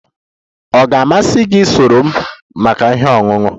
Ọ ga-amasị gị isonyere m maka ihe ọṅụṅụ?